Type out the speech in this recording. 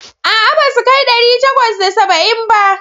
A'a, ba su kai ɗari takwas da saba'in ba.